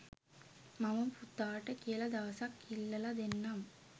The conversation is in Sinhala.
මම පුතාට කියලා දවසක් ඉල්ලල දෙන්නම්